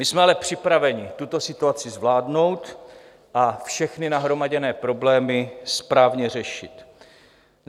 My jsme ale připraveni tuto situaci zvládnout a všechny nahromaděné problémy správně řešit.